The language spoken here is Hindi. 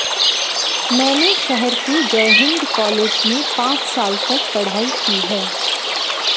मैंने शहर के जयहिन्द कॉलेज में पांच साल तक पढ़ाई की है